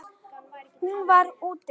Hún var: úti.